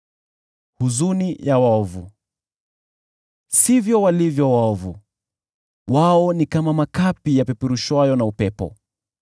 Sivyo walivyo waovu! Wao ni kama makapi yapeperushwayo na upepo.